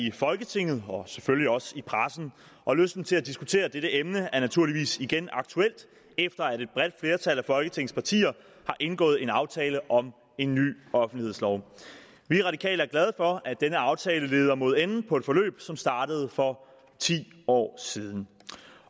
i folketinget og selvfølgelig også i pressen og lysten til at diskutere dette emne er naturligvis igen aktuel efter at et bredt flertal af folketingets partier har indgået en aftale om en ny offentlighedslov vi radikale er glade for at denne aftale leder mod enden på et forløb som startede for ti år siden